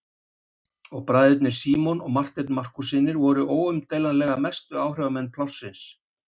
Og bræðurnir Símon og Marteinn Markússynir voru óumdeilanlega mestu áhrifamenn plássins.